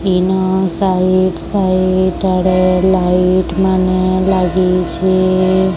ଇନ site site ଆଡ଼େ light ମାନେ ଲାଗିଛେ।